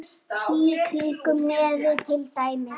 Í kringum nefið til dæmis.